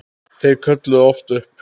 Þeir kölluðu oft upp